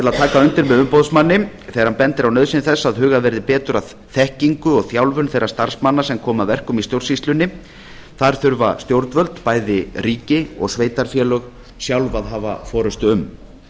undir með umboðsmanni þegar hann bendir á nauðsyn þess að hugað verði betur að þekkingu og þjálfun þeirra starfsmanna sem koma að verkum í stjórnsýslunni þar þurfa stjórnvöld bæði ríki og sveitarfélög sjálf að hafa forustu um